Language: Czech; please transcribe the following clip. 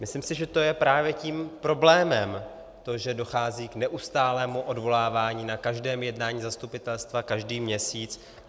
Myslím si, že to je právě tím problémem, to, že dochází k neustálému odvolávání na každém jednání zastupitelstva každý měsíc.